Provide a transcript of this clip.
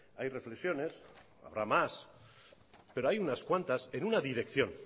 hay reflexiones habrá más pero hay unas cuantas en una dirección